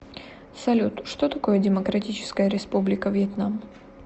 салют что такое демократическая республика вьетнам